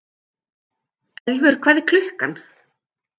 Elfur, hvað er klukkan?